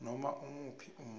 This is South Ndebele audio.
noma imuphi umuntu